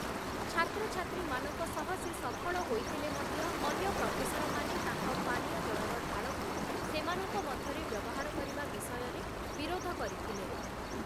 ଛାତ୍ରଛାତ୍ରୀମାନଙ୍କ ସହ ସେ ସଫଳ ହୋଇଥିଲେ ମଧ୍ୟ, ଅନ୍ୟ ପ୍ରଫେସରମାନେ ତାଙ୍କ ପାନୀୟ ଜଳର ଢାଳକୁ ସେମାନଙ୍କ ମଧ୍ୟରେ ବ୍ୟବହାର କରିବା ବିଷୟରେ ବିରୋଧ କରିଥିଲେ ।